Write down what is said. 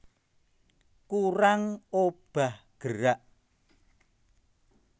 Kurang obah gerak